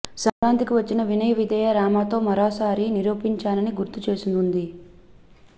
సంక్రాంతికి వచ్చిన వినయ విదేయ రామ తో మరోసారి నిరూపించానని గుర్తు చేసుకుంది